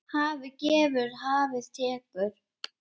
Hafið gefur, hafið tekur.